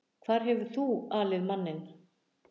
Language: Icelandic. Hvar hefur þú alið manninn?